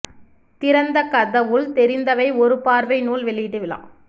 திறந்த கதவுள் தெரிந்தவை ஒரு பார்வை நூல் வெளியீட்டு விழா